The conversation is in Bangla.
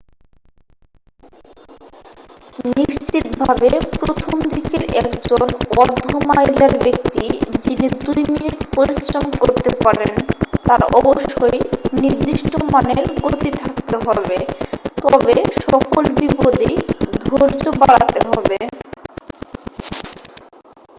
নিশ্চিতভাবে প্রথম-দিকের একজন অর্ধ মাইলার ব্যক্তি যিনি দুই মিনিট পরিশ্রম করতে পারেন তার অবশ্যই নির্দিষ্ট মানের গতি থাকতে হবে তবে সকল বিপদেই ধৈর্য বাড়াতে হবে